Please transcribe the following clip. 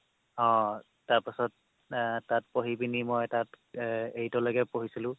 অ' তাৰপাছত এৰ তাত পঢ়ি পিনি মই তাত এৰ মই eight লৈকে পঢ়িছিলো